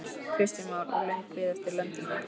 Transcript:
Kristján Már: Og löng bið eftir löndun eða hvað?